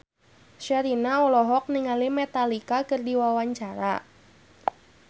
Sherina olohok ningali Metallica keur diwawancara